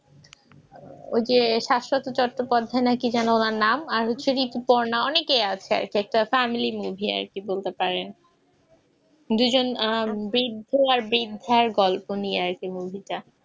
যে শাশ্বত চট্টোপাধ্যায় নাকি যেন ওনার নাম আর হচ্ছে ঋতুপর্ণা অনেকেই আছে আর কি একটা family movie আর কি বলতে পারেন দুজন আহ বৃদ্ধ আর বৃদ্ধার গল্প নিয়ে আর কি movie টা